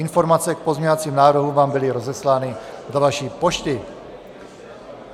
Informace k pozměňovacím návrhům vám byly rozeslány do vaší pošty.